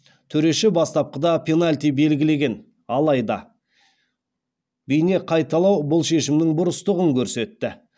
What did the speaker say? төреші бастапқыда пенальти белгілеген алайда бейнеқайталау бұл шешімнің бұрыстығын көрсетті